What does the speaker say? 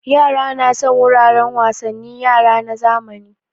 Yara na son wuraren wasannin yara na zamani